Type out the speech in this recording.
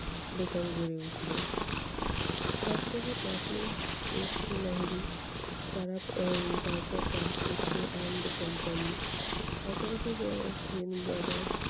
দোকান গড়ে উঠলো। সব থেকে প্রাচীন এস কে লাহিড়ী তারা এর তারপর দাশগুপ্ত and company পাশাপাশি আহ সেন brother